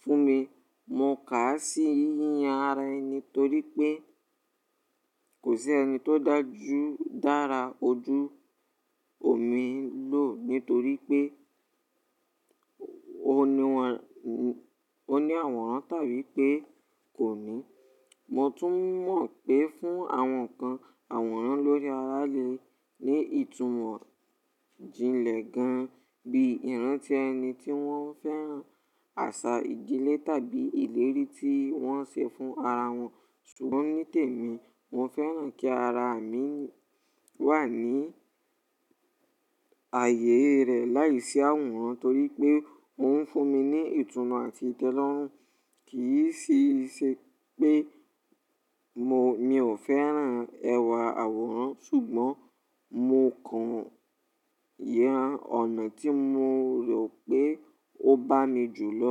Fún mi, mo kà á sí yíyan ara ẹni nítorí pé kò sí ẹni tó dá ju, dára ojú omi lo nítorí pé ó ní àwòrán tàbí pé kò ní. Mo tún mọ̀ pé fún àwọn kan àwòrán lórí ara lè ní ìtumọ̀ jinlẹ̀ gan bí i ìrántí ẹni tí wọ́n fẹ́ràn, àṣà ìdílé tàbí ìlérí tí wọ́n ṣe fún ara wọn. Sugbọn ní tèmi, mo fẹ́ràn kí ara mi wà ní ààyè rẹ̀ láìsí àwòrán torí pé ó ń fún mi ní ìtùnú àti ìtẹ́lọ́rùn. Kì í ṣe iṣe pé mi ò fẹ́ràn ẹwà àwòrán ṣùgbọ́n mo kàn yan ọ̀nà tí mo rò pé ó bá mi jù lọ.